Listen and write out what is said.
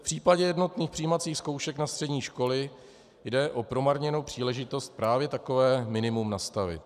V případě jednotných přijímacích zkoušek na střední školy jde o promarněnou příležitost právě takové minimum nastavit.